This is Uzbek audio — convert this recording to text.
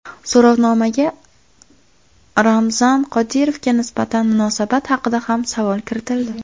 So‘rovnomaga Ramzan Qodirovga nisbatan munosabat haqida ham savol kiritildi.